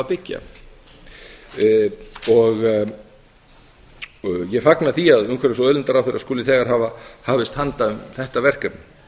byggja ég fagna því að umhverfis og auðlindaráðherra skuli þegar hafa hafist handa um þetta verkefni